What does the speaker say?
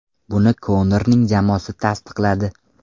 Buni Konorning jamoasi tasdiqladi.